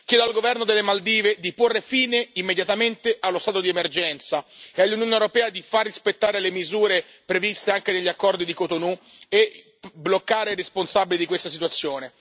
Chiedo al governo delle Maldive di porre fine immediatamente allo stato di emergenza, e all'Unione europea di far rispettare le misure previste anche degli accordi di Cotonou, e bloccare i responsabili di questa situazione.